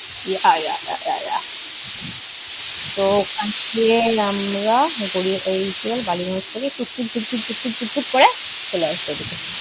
তো ওখান দিয়ে আমরা গড়িয়া, এই কী বলে বালিগঞ্জ থেকে টুক টুক টুক টুক টুক টুক করে চলে আসবো এদিকে।